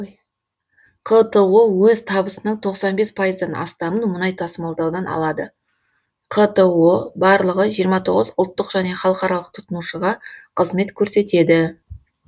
қто өз табысының тоқсан бес пайыздан астамын мұнай тасымалдаудан алады қто барлығы жиырма тоғыз ұлттық және халықаралық тұтынушыға қызмет көрсетеді